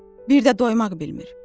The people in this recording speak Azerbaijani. Bir də doymag bilmir.